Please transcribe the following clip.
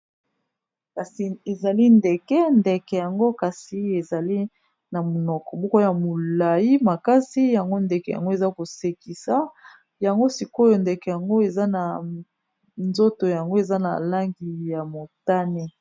Kasi ezali ndeke ndeke yango kasi ezali na monoko moko ya molayi makasi yango ndeke yango eza kosekisa yango sikoyo ndeke yango eza na nzoto yango eza na langi ya motane.